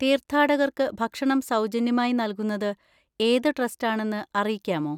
തീർഥാടകർക്ക് ഭക്ഷണം സൗജന്യമായി നൽകുന്നത് ഏത് ട്രസ്റ്റാണെന്ന് അറിയിക്കാമോ?